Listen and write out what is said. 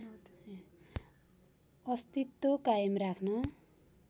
अस्तित्व कायम राख्न